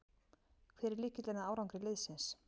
Hver er lykillinn að árangri liðsins?